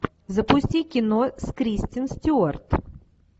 запусти кино с кристен стюарт